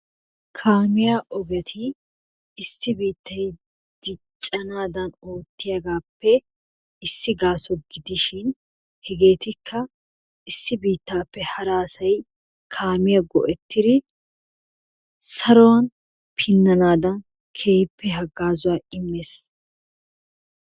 Kaamiya ogeti issi biittay diccanaadan ootiyaagappe issi gaaso gidishin hegeetikka issi biittaappe hara asay kaamiya go'ettidi saruwan pinnanaadan keehippe hagaazzuwa immees.